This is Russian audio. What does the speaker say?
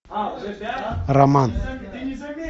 роман